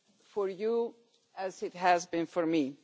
for you as it has been for me.